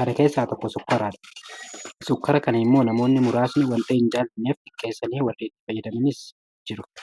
Kana keessaa tokko sukkaaradha. Sukkaara kana immoo namoonni muraasni waanta hinjaalanneef xiqqeessanii warri itti fayyadamanis jiru.